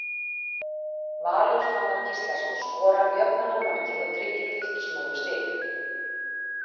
Valur Fannar Gíslason skorar jöfnunarmarkið og tryggir Fylkismönnum stig.